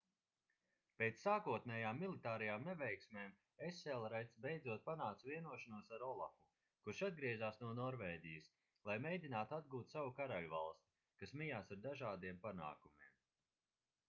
pēc sākotnējām militārajām neveiksmēm eselreds beidzot panāca vienošanos ar olafu kurš atgriezās no norvēģijas lai mēģinātu atgūt savu karaļvalsti kas mijās ar dažādiem panākumiem